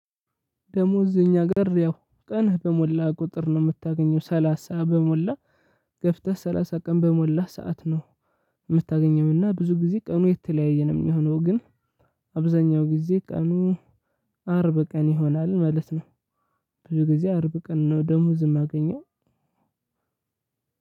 ደሞዝ እዚህ እኛ ጋር ያው ቀንህ በሞላ ቁጥር ነው የምታገኘው ሰላሳ በሞላ ገፍተህ ሰላሳ ቀን በሞላህ ሰዓት ነው። የምታገኘውና ብዙ ጊዜ ቀኑ የተለያየ ነው የሚሆነው ግን። አብዛኛው ጊዜ ቀኑ አርብ ቀን ይሆናል ማለት ነው። ብዙ ጊዜ አርብ ቀን ነው ደመወዝም ማገኘው።